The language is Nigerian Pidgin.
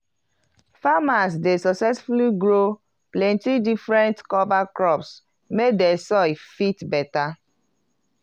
farmers dey sucessfully grow plenti different cover crops make di soil fit beta.